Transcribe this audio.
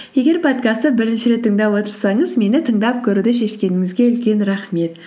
егер подкастты бірінші рет тыңдап отырсаңыз мені тыңдап көруді шешкеніңізге үлкен рахмет